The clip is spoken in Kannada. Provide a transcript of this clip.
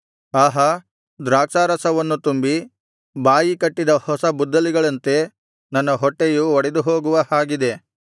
ಆಹಾ ದ್ರಾಕ್ಷಾರಸವನ್ನು ತುಂಬಿ ಬಾಯಿಕಟ್ಟಿದ ಹೊಸ ಬುದ್ದಲಿಗಳಂತೆ ನನ್ನ ಹೊಟ್ಟೆಯು ಒಡೆದುಹೋಗುವ ಹಾಗಿದೆ